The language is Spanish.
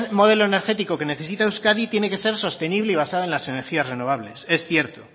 modelo energético que necesita euskadi tiene que ser sostenible y basado en las energías renovables es cierto